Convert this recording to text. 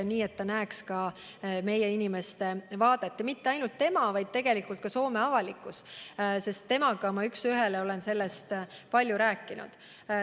Soovisin, et ta näeks ka meie inimeste vaadet – mitte ainult tema, vaid kogu Soome avalikkus pidi seda nägema, sest tema endaga olen sellest palju rääkinud.